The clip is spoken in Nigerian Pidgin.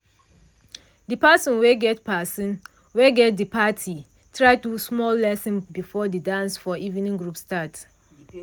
de person wey get person wey get de parti try do small lesson before de dance for evening group start.